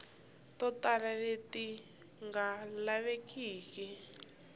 to tala leti nga lavekiki